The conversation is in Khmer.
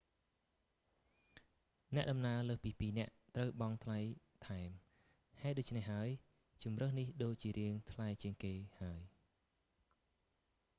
អ្នកដំណើរលើសពី 2 នាក់ ត្រូវបង់ថ្លៃថែម ហេតុដូច្នេះហើយ ជម្រើសនេះដូចជារាងថ្លៃជាងគេហើយ